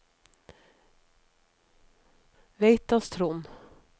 Veitastrond